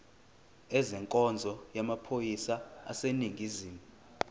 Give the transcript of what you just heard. ezenkonzo yamaphoyisa aseningizimu